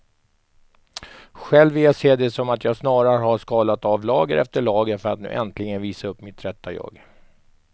Själv vill jag se det som att jag snarare har skalat av lager efter lager för att nu äntligen visa upp mitt rätta jag.